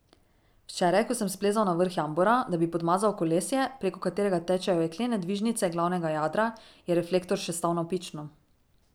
Včeraj, ko sem splezal na vrh jambora, da bi podmazal kolesje, preko katerega tečejo jeklene dvižnice glavnega jadra, je reflektor še stal navpično.